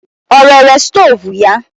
Ọ rere stoovu ya?